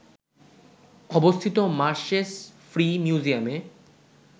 অবস্থিত মার্শেস ফ্রি মিউজিয়ামে